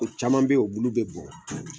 O caman be yen o bulu bɛ bɔn